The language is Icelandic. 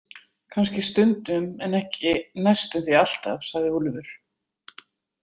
Kannski stundum en ekki næstum því alltaf, sagði Úlfur.